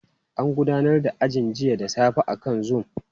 An gudanar da ajin jiya da safe akan zoom.